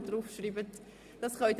Sie können sich gerne bedienen.